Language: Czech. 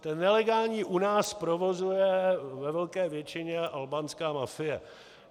Ten nelegální u nás provozuje ve velké většině albánská mafie.